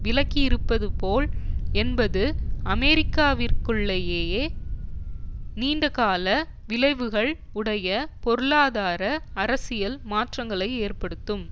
விளக்கியிருப்பது போல் என்பது அமெரிக்காவிற்குள்ளேயேயே நீண்டகால விளைவுகள் உடைய பொருளாதார அரசியல் மாற்றங்களை ஏற்படுத்தும்